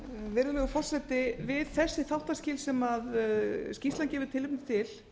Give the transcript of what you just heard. virðulegur forseti við þessi þáttaskil sem skýrslan gefur tilefni til